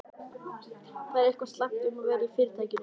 Það er eitthvað slæmt um að vera í Fyrirtækinu.